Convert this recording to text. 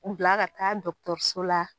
U bila ka taa dɔgɔtɔrɔso la.